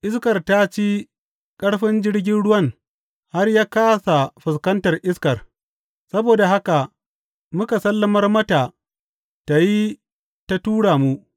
Iskar ta ci ƙarfin jirgin ruwan har ya kāsa fuskantar iskar; saboda haka muka sallamar mata tă yi ta tura mu.